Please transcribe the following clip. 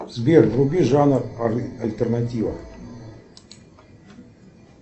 сбер вруби жанр альтернатива